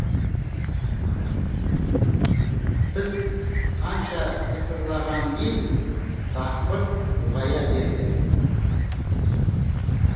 біз қанша тыпырлағанмен дақпырт ұлғая берді